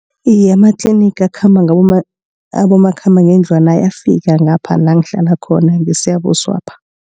Iye amatliniga akhamba abomakhambangendlwana ayafika ngapha langihlala khona ngeSiyabuswapha.